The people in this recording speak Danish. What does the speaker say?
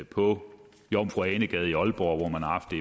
på jomfru ane gade i aalborg hvor man har haft